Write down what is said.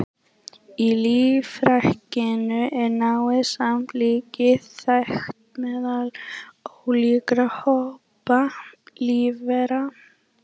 Í lífríkinu er náið samlífi þekkt meðal ólíkra hópa lífvera.